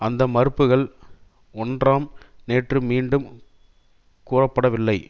அந்த மறுப்புக்கள் ஒன்றாம் நேற்று மீண்டும் குறப்படவில்லை